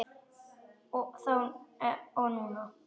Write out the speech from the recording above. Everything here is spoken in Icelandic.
Þá og núna.